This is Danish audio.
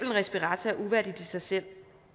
en respirator er uværdigt i sig selv